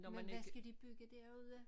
Men hvad skal de bygge derude?